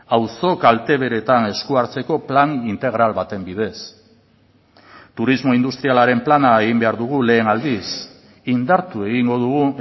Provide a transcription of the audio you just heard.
auzo kalteberetan esku hartzeko plan integral baten bidez turismo industrialaren plana egin behar dugu lehen aldiz indartu egingo dugu